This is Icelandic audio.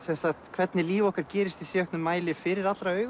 hvernig líf okkar gerist í síauknum mæli fyrir allra augum